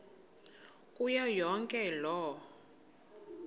kuyo yonke loo